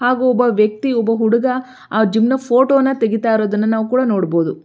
ಹಾಗು ಒಬ್ಬ ವಕ್ತಿ ಒಬ್ಬ ಹುಡ್ಗ ಆ ಜಿಮ್ ನ ಫೋಟೋ ನ ತೆಗೀತಿರೋದನ್ನ ಕೂಡ ನೋಡ ಬಹುದು.